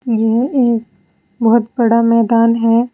यह एक बहुत बड़ा मैदान है।